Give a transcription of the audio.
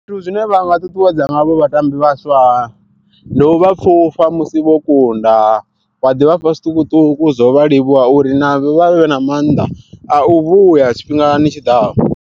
Zwithu zwine vhanga ṱuṱuwedza ngazwo vhatambi vhaswa ndi u vha pfufha musi vho kunda wa ḓi vhafha zwiṱukuṱuku zwo vha livhuwa uri navho vhavhe na maanḓa a u vhuya tshifhingani tshiḓaho.